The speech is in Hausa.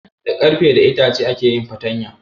Da Ƙarfe da itace ake yin fartaya